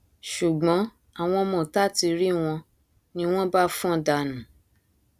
ṣùgbọn àwọn ọmọọta ti rí wọn ni wọn bá fọn dànù